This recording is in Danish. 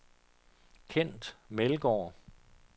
Kent Meldgaard